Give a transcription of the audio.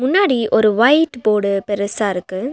முன்னாடி ஒரு ஒயிட் போட்டு பெருசா இருக்கு.